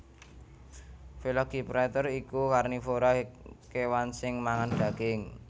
Velociraptor iku karnivora kèwan sing mangan daging